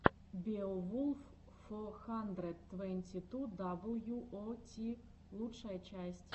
беовулф фо хандрэд твэнти ту дабл ю о ти лучшая часть